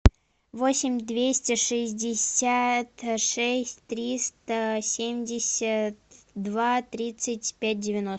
восемь двести шестьдесят шесть триста семьдесят два тридцать пять девяносто